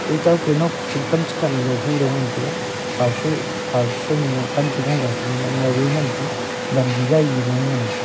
ekow ke nokching kam cha kahnu hudaw ngan taiga phawcha soi phawcha soi nu lung pan cha gunggaw nu ngaw a ngan taiga wangi gaigi ngan taga.